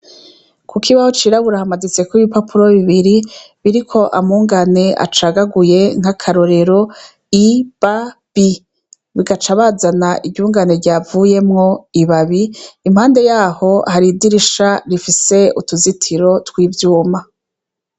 Ku kibaho cirabura hamaditseko ibipapuro bibiri biriko amungane acagaguye nk'akarorero I,ba, bi bagaca bazana iryungane ryavuyemo ibabi, impande yaho hari idirisha rifise utuzitiro tw'ivyuma.